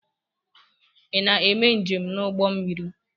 Ị na-eme njem n'ụgbọ mmiri?